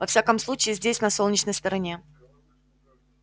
во всяком случае здесь на солнечной стороне